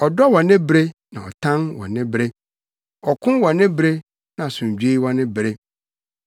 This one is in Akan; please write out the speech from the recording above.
ɔdɔ wɔ ne bere na ɔtan wɔ ne bere, ɔko wɔ ne bere na asomdwoe wɔ ne bere.